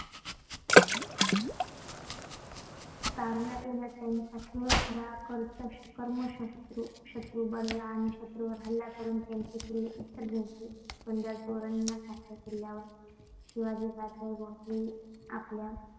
तारुण्यात येताच त्यांचा खेळ खरा कर्मशत्रू शत्रू बनला आणि शत्रूंवर हल्ला करून त्यांने किल्ले इतर जिंकले. पुरंदर, तोरण यांसारख्या किल्ल्यांवर शिवाजीराजे भोसले आपला